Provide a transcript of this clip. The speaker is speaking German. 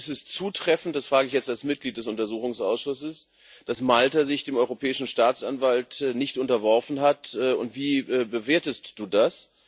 Ist es zutreffend das frage ich jetzt als Mitglied des Untersuchungsausschusses dass Malta sich dem Europäischen Staatsanwalt nicht unterworfen hat, und wie bewertest du das?